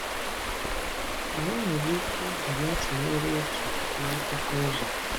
Ma e nwere ike iji ya tụnyere otu n'ọtụtụ ụzọ.